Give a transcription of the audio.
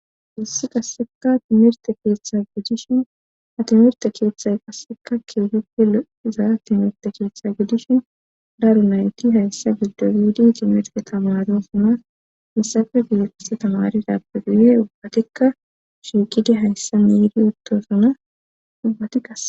hesi qasseka timirte keeththa godishin atimerte keeththay qasseka kieguppe lo7izaa timerte keeththe gudishin daru nayti hayssa giddo yuidi timire tamaro simas missafe biexisa tamaridappe guye ubbatikka shiiqide hayssa niiri uttosana ubbati qase